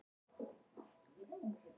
Magma reiðubúið til viðræðna